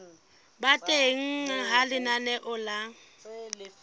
ba teng ha lenaneo la